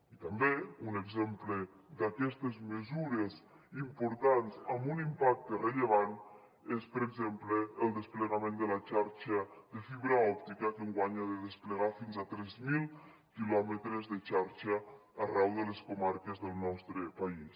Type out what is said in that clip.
i també un exemple d’aquestes mesures importants amb un impacte rellevant és per exemple el desplegament de la xarxa de fibra òptica que enguany ha de desplegar fins a tres mil quilòmetres de xarxa arreu de les comarques del nostre país